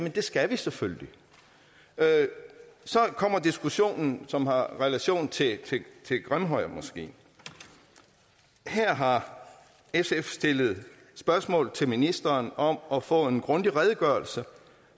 at det skal vi selvfølgelig så kommer diskussionen som har relation til grimhøjmoskeen her har sf stillet spørgsmål til ministeren om at få en grundig redegørelse